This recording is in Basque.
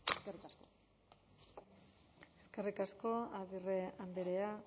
eskerrik asko eskerrik asko agirre andrea